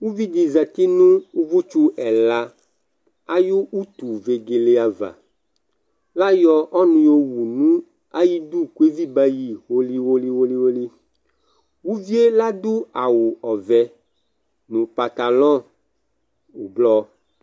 uvi di zati no uvò tsu ɛla ayi utu vegele ava la yɔ ɔnò owu no ayi du kò evi ba yi holi holi holi uvie ladò awu ɔvɛ no pantalɔ ublɔ